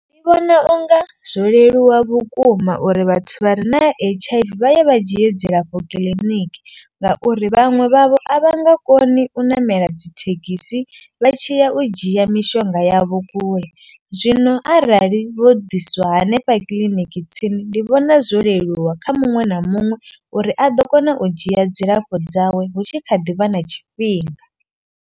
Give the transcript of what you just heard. Ndi vhona unga zwo leluwa vhukuma uri vhathu vha re na H_I_V vha ye vha dzhie dzilafho kiḽiniki. Ngauri vhaṅwe vhavho a vha nga koni u ṋamela dzi thekhisi vha tshiya u dzhia mishonga yavho kule. Zwino arali vho ḓiswa hanefha kiḽiniki tsini ndi vhona zwo leluwa kha muṅwe na muṅwe. Uri a ḓo kona u dzhia dzilafho dzawe hu tshi kha ḓivha na tshifhinga.